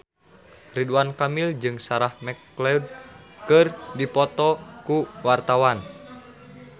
Ridwan Kamil jeung Sarah McLeod keur dipoto ku wartawan